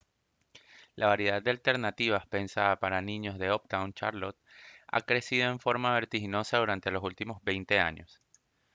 la variedad de alternativas pensadas para niños de uptown charlotte ha crecido en forma vertiginosa durante los últimos 20 años